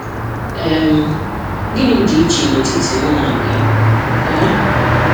um Gịnị dị iche n'etiti mụ na gị um?